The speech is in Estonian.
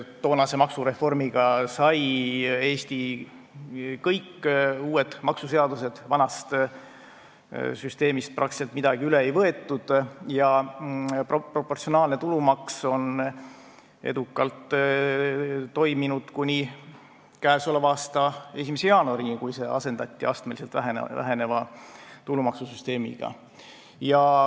Toonase maksureformiga sai Eesti kõik uued maksuseadused, vanast süsteemist peaaegu midagi üle ei võetud, ja proportsionaalne tulumaks on edukalt toiminud kuni k.a 1. jaanuarini, kui see asendati astmeliselt väheneva tulumaksusüsteemiga.